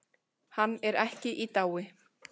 Hann er ekki í dái.